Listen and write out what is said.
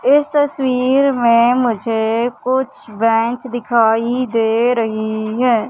इस तस्वीर में मुझे कुछ बेंच दिखाई दे रही है।